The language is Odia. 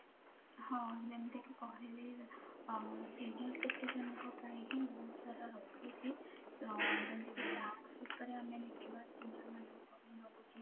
ହଁ ଯେମିତି କି କହିଲି senior citizen ଙ୍କ ପାଇଁ ହିଁ ବହୁତ ସାରା ରହୁଛି ଉପରେ ଆମେ ଦେଖିବା